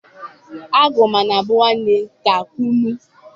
agu mana bu nwanne ka kunu